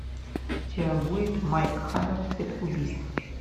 у тебя будет майк хаммер цепь убийств